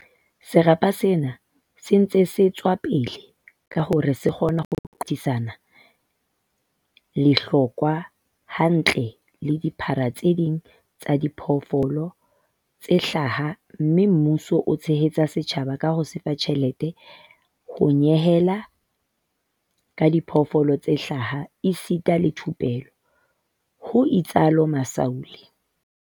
"Serapa sena se ntse se ntshe tswa pele hore se kgone ho qothisana lehlokwa hantle le dirapa tse ding tsa diphoofolo tse hlaha mme mmuso o tshehetsa setjhaba ka ho se fa tjhelete, ho nyehela ka diphoofolo tse hlaha esita le thupello," ho itsalo Masualle.